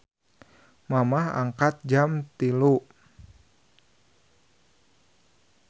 Mamah angkat jam 03.00